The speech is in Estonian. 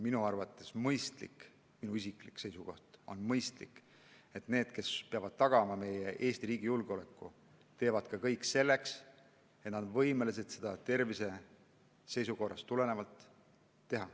Minu arvates on mõistlik – see on minu isiklik seisukoht –, et inimesed, kes peavad tagama Eesti riigi julgeoleku, teevad kõik selleks, et olla piisavalt terved, et olla võimelised seda tegema.